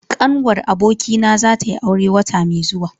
Ƙanwar abokina za tayi aure wata mai zuwa.